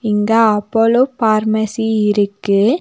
இங்க Apollo pharmacy இருக்கு.